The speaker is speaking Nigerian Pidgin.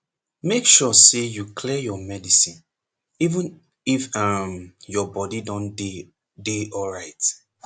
make sure say you clear your medicine even if emm your body don dey dey alright